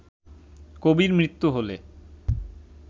কবির মৃত্যু হলে